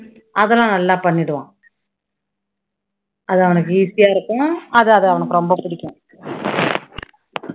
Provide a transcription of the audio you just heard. அதெல்லாம் நல்லா பண்ணிடுவான் அது அவனுக்கு easy ஆ இருக்கும். அது அது அவனுக்கு ரொம்ப புடிக்கும்